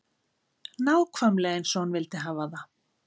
Nákvæmlega eins og hún vildi hafa það.